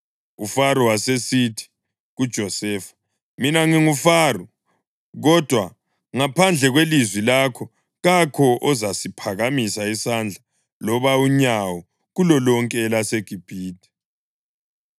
UFaro wasesithi kuJosefa, “Mina nginguFaro, kodwa ngaphandle kwelizwi lakho kakho ozasiphakamisa isandla loba unyawo kulolonke elaseGibhithe.”